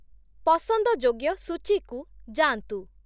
ପସନ୍ଦଯୋଗ୍ୟ ସୂଚୀକୁ ଯାଆନ୍ତୁ |